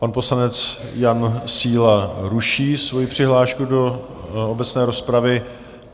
Pan poslanec Jan Síla ruší svoji přihlášku do obecné rozpravy.